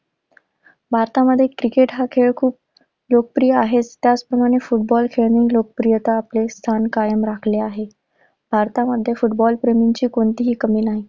भारतामध्ये क्रिकेट हा खेळ खूप लोकप्रिय आहे. त्याचप्रमाणे फुटबॉल खेळाने लोकप्रियतेत आपले स्थान कायम राखले आहे. भारतामध्ये फुटबॉल प्रेमींची कोणतीही कमी नाही.